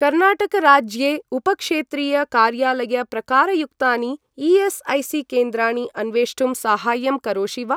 कर्नाटक राज्ये उपक्षेत्रीय कार्यालय प्रकारयुक्तानि ई.एस्.ऐ.सी.केन्द्राणि अन्वेष्टुं साहाय्यं करोषि वा?